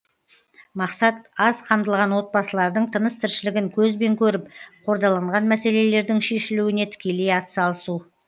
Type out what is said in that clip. мақсат аз қамтылған отбасылардың тыныс тіршілігін көзбен көріп қордаланған мәселелердің шешілуіне тікелей атсалысу